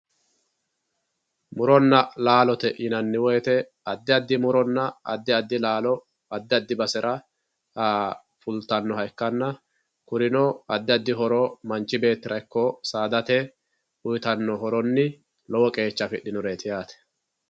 muronna laalote yinanni woyiite addi addi muronna addi addi laalo addi addi basera fultannoha ikkanna kurino addi addi horo manchi beettira ikko saadate uyiitanno horonni lowo qeecha affidhinote yaate